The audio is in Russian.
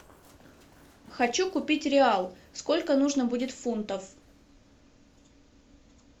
хочу купить реал сколько нужно будет фунтов